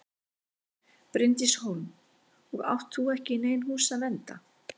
Bryndís Hólm: Og átt þú ekki í nein hús að vernda?